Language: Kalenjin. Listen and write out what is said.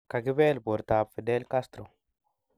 kagipeel portap Fidel Castro